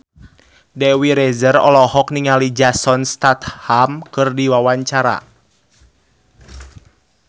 Dewi Rezer olohok ningali Jason Statham keur diwawancara